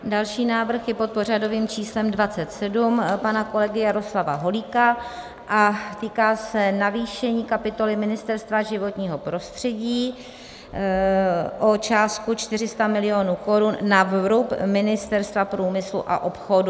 Další návrh je pod pořadovým číslem 27 pana kolegy Jaroslava Holíka a týká se navýšení kapitoly Ministerstva životního prostředí o částku 400 milionů korun na vrub Ministerstva průmyslu a obchodu.